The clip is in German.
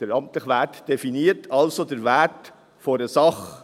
Der amtliche Wert definiert also den Wert einer Sache.